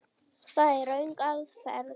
Það er röng aðferð.